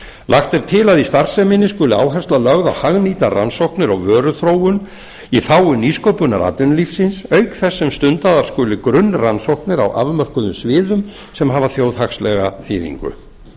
lagt er til að í starfseminni skuli áhersla lögð á hagnýtar rannsóknir og vöruþróun í þágu nýsköpunar atvinnulífsins auk ber sem stundaðar skuli grunnrannsóknir á afmörkuðum sviðum sem hafa þjóðhagslega þýðingu